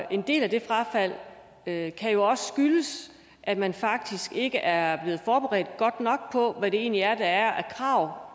en del af det frafald kan kan jo også skyldes at man faktisk ikke er blevet forberedt godt nok på hvad det egentlig er der er af krav